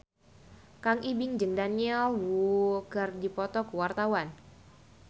Kang Ibing jeung Daniel Wu keur dipoto ku wartawan